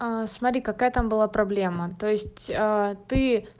аа смотри какая там была проблема то есть ты